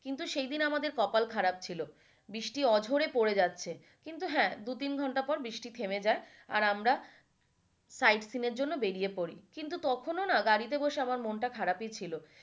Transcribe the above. কিন্তু সেই দিন আমাদের কপাল খারাপ ছিলো। বৃষ্টি অঝরে পড়ে যাচ্ছে কিন্তু হ্যাঁ দু তিন ঘন্টা পর বৃষ্টি থেমে যায় আর আমরা side scene এর জন্য বেরিয়ে পড়ি। কিন্তু তখনও না গাড়িতে বসে আমরা মনটা খারাপই ছিল।